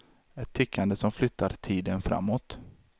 Ett tickande som flyttar tiden framåt.